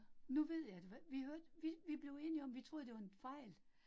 Nu ved jeg det, vi hørte, vi vi blev enige om vi blev enige om, vi troede det var en fejl